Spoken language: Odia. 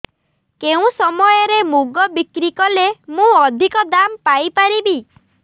କେଉଁ ସମୟରେ ମୁଗ ବିକ୍ରି କଲେ ମୁଁ ଅଧିକ ଦାମ୍ ପାଇ ପାରିବି